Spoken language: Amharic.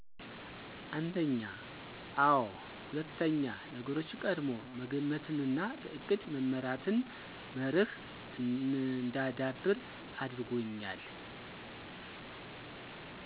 አንድኛ፦ አዎ ሁለትኛ፦ ነገሮችን ቀድሞ መገመትንና በእቅድ መመራትን መርህ እንዳዳብር አድርጎኛል።